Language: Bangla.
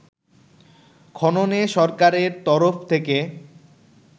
খননে সরকারের তরফ থেকে